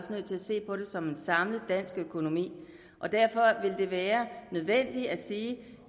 se på det som en samlet dansk økonomi derfor vil det være nødvendigt at sige at